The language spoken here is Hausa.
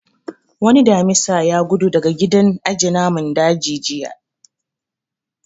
Wani Damisa ya gudu daga gidan aje namun daji jiya